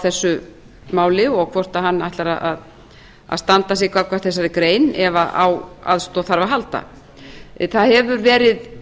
þessu máli og hvort hann ætlar að standa á því gagnvart þessari grein ef á aðstoð þarf að halda það hefur verið